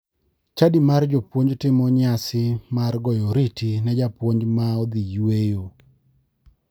Chadi mar jopuonj timo nyasi mar goyo oriti ne japuonj ma odhi e yweyo.